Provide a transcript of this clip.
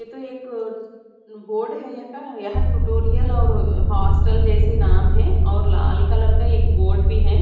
ये तो एक बोर्ड है यहाँ का यहाँ टुटोरिअल और हॉस्टल जैसे नाम है और लाल कलर का एक बोर्ड भी है।